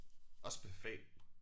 Også med fag